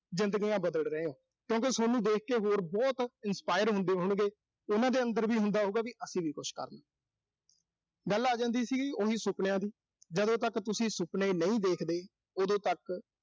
ਜ਼ਿੰਦਗੀਆਂ ਬਦਲ ਰਹੇ ਓਂ, ਤੁਸੀਂ। ਕਿਉਂ ਕਿ ਸੋਨੂੰ ਦੇਖ ਕੇ ਹੋਰ ਬਹੁਤ inspire ਹੁੰਦੇ ਹੋਣਗੇ। ਉਨ੍ਹਾਂ ਦੇ ਅੰਦਰ ਵੀ ਹੁੰਦਾ ਹੋਊਗਾ ਵੀ ਅਸੀਂ ਵੀ ਕੁਸ਼ ਕਰ ਲੀਏ। ਗੱਲ ਆ ਜਾਂਦੀ ਸੀ, ਉਹੀ ਸੁਪਨਿਆਂ ਦੀ। ਜਦੋਂ ਤੱਕ ਤੁਸੀਂ ਸੁਪਨੇ ਨਹੀਂ ਦੇਖਦੇ, ਉਦੋਂ ਤੱਕ